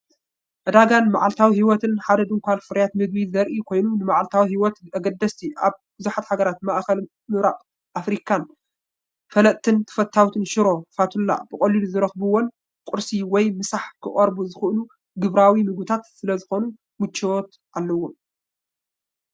ዕዳጋን መዓልታዊ ህይወትን ሓደ ድኳን ፍርያት ምግቢ ዘርኢ ኮይኑ፡ ንመዓልታዊ ህይወት ኣገደስቲ ፤ኣብ ብዙሓት ሃገራት ማእከላይ ምብራቕን ኣፍሪቃን ዝፍለጥን ተፈታዊን ሽሮ ፋቱላ፣ ብቐሊሉ ዝረኽብዎምን ንቁርሲ ወይ ምሳሕ ክቐርቡ ዝኽእሉ ግብራዊ ምግብታትን ስለዝኾኑ ምቹዋት እዮም።